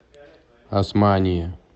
османие